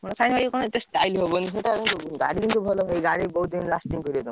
Style ଭଲ ନୁହଁ,